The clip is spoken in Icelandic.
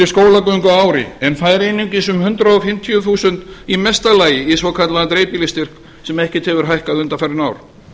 skólagöngu á ári en fær einungis um hundrað fimmtíu þúsund í mesta lagi í svokallaðan breytilista sem ekkert hefur hækkað undanfarin ár